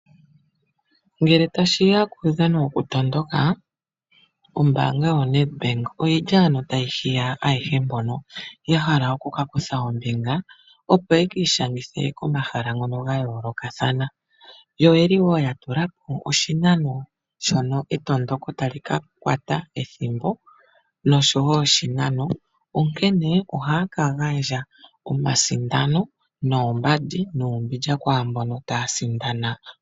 Ngele tashi ya kuudhano wokutondoka, ombaanga yoNedbank otayi hiya ayehe mbono ya hala oku ka kutha ombinga, opo ye ki ishangithe komahala ngono ga yoolokathana. Oya tula po wo oshinano shono etondoko tali ka kwata, onkene ohaya ka gandja omasindano, oombandi nuumbindja kwaambono taya sindana.